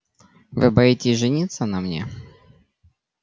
вы боитесь жениться на мне